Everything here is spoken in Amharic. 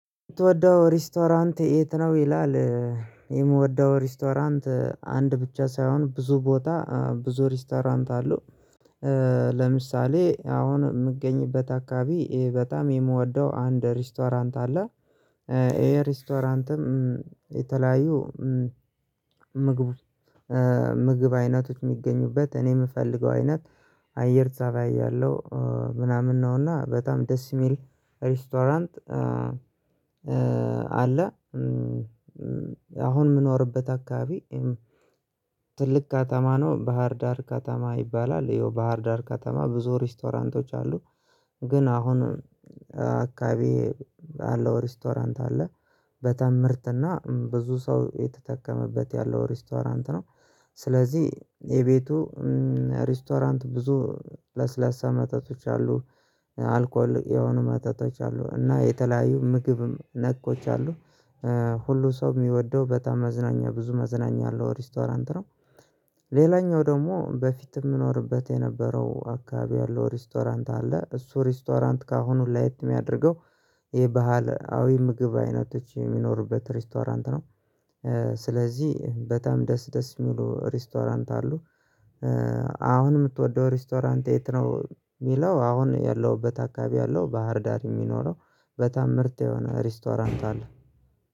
ምትወደው ሬስቶራንት የት ነው ይላል? የምወደው ሬስቶራንት አንድ ብቻ ሳይሆን ብዙ ቦታ ብዙ ሪስቶራንት አለው። ለምሳሌ አሁን የምገኝበት አካባቢ ይሄ በጣም የምወደው አንድ ሪስቶራንት አለ። ይሄ ሪስቶራንትም የተለያዩ ምግብ ምግብ አይነቶች የሚገኙበት እኔ የምፈልገው አይነት አየር ፀባይ ያለው ምናምን ነውና በጣም ደስ የሚል ሬስቶራንት። አለ አሁን የምኖርበት አካባቢ። ትልቅ ከተማ ነው ባህር ዳር ከተማ ይባላል ይኸው ባህር ዳር ከተማ ብዙ ሬስቶራንቶች አሉ። ግን አሁን አካባቢ ያለው ሬስቶራንት አለ በጣም ምርጥ ብዙ ሰው የተጠቀመበት ያለው ሬስቶራንት ነው። ስለዚህ የቤቱ ሬስቶራንት ብዙ ለስለሳ መጠጦች አሉ አልኮል የሆኑ መጠጦች አሉ እና የተለያዩ ምግብም ነኮች አሉ። ሁሉ ሰው የሚወደው በጣም መዝናኛ ብዙ መዝናኛ አለው ሬስቶራንት ነው። ሌላኛው ደግሞ በፊት የምኖርበት የነበረው አካባቢ ያለው ሬስቶራንት አለ እሱ ሬስቶራንት ከአሁኑ ላይት የሚያደርገው የባህላዊ ምግብ አይነቶች የሚኖሩበት ሬስቶራንት ነው። ስለዚህ በጣም ደስ ደስ የሚሉ ሬስቶራንት አሉ። አሁን የምትወደው ሬስቶራንት የት ነው የሚለው? አሁን ያለሁበት አካባቢ ያለው ባህር ዳር የሚኖረው በጣም ምርት የሆነ ሬስቶራንት አለ።